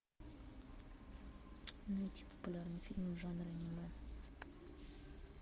найти популярные фильмы в жанре аниме